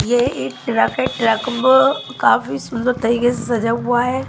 ये एक ट्रक है ट्रक बो काफी सुंदर तरीके से सजा हुआ है।